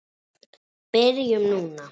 Byrjum núna.